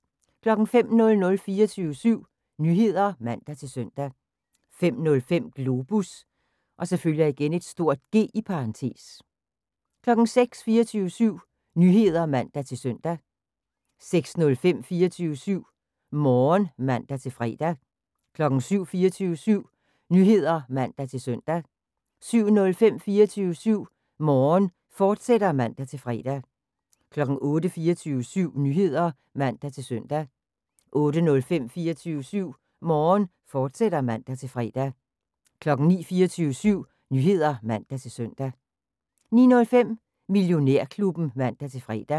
05:00: 24syv Nyheder (man-søn) 05:05: Globus (G) 06:00: 24syv Nyheder (man-søn) 06:05: 24syv Morgen (man-fre) 07:00: 24syv Nyheder (man-søn) 07:05: 24syv Morgen, fortsat (man-fre) 08:00: 24syv Nyheder (man-søn) 08:05: 24syv Morgen, fortsat (man-fre) 09:00: 24syv Nyheder (man-søn) 09:05: Millionærklubben (man-fre)